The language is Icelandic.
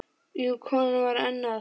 Jú, konan var enn að.